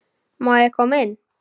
Má ég koma inn?